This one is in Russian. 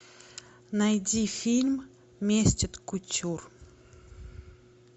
найди фильм месть от кутюр